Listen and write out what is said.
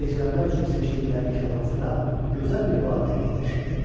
Gecələmək üçün seçdikləri karvansara gözəl bir vadidə yerləşirdi.